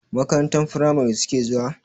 Makarantar firamari suke zuwa?